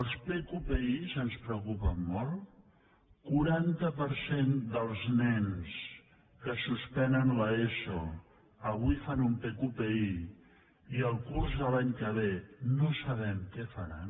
els pqpi ens preocupen molt el quaranta per cent dels nens que suspenen l’eso avui fan un pqpi i el curs de l’any que ve no sabem què faran